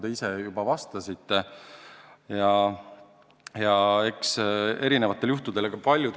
Te ise ka märkisite kaht kuud.